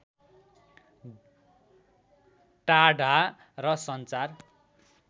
टाढा र सञ्चार